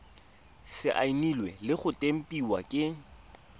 saenilwe le go tempiwa ke